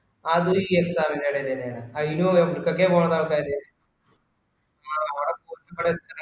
അതു ഈ exam ൻറെ എടേൽ തന്നെ ആണ് അയിനും എവടത്തൊക്കെ പൊന്നെ ആള്ക്കാര്